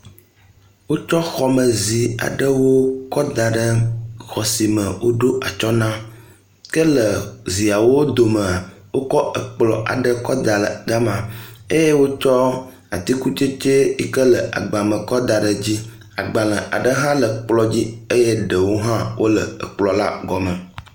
Wotsɔ xɔme zi aɖewo kɔ da ɖe xɔ si me woɖo atsyɔ na ke le ziawo domea, wokɔ kplɔ̃ aɖe kɔ da ɖe gema eye wotsɔ atikutsetse yi ke le agba me kɔ da ɖe dzi. Agbalẽ aɖe hã le kplɔ̃ dzi eye ɖewo hã wole kplɔ̃ la gɔme.